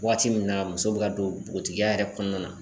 Waati min na muso bɛ ka don npogotigiya yɛrɛ kɔɔna na